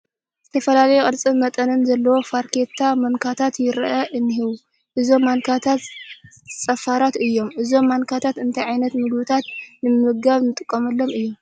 ዝተፈላለየ ቅርፅን መጠንን ዘለዎም ፋርኬታ ማንካታት ይርአዩ እኔዉ፡፡ እዞም ማንካታት ፀፋራት እዮም፡፡ እዞም ማንካታት እንታይ ዓይነት ምግብታት ንምምጋብ ንጥቀመሎም እዮም?